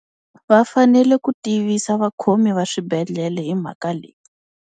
Va fanele ku tivisa vakhomi va swibedhlele hi mhaka leyi.